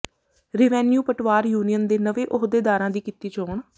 revenue Patwar union ਦੇ ਨਵੇਂ ਅਹੁਦੇਦਾਰਾਂ ਦੀ ਕੀਤੀ ਚੋਣ